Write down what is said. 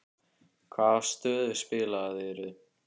Hvaða stöðu spilaðirðu?